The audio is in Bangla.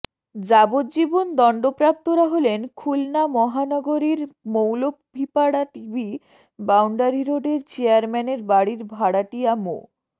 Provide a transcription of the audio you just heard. যাবজ্জীবন দণ্ডপ্রাপ্তরা হলেন খুলনা মহানগরীর মৌলভীপাড়া টিবি বাউন্ডারি রোডের চেয়ারম্যানের বাড়ির ভাড়াটিয়া মো